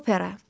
Opera.